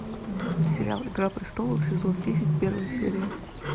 сериал игра престолов сезон десять первая серия